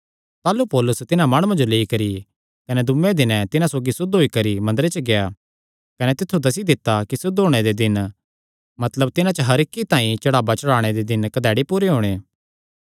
ताह़लू पौलुस तिन्हां माणुआं जो लेई करी कने दूये दिने तिन्हां सौगी सुद्ध होई करी मंदरे च गेआ कने तित्थु दस्सी दित्ता कि सुद्ध होणे दे दिन मतलब तिन्हां च हर इक्की तांई चढ़ावा चढ़ाणे दे दिन कधैड़ी पूरे होणे